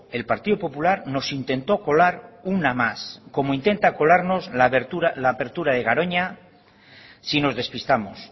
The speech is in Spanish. el partido popular nos intentó colar una más como intenta colarnos la apertura de garoña si nos despistamos